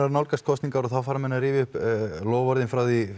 að nálgast kosningar og þá fara menn að rifja upp loforðin frá því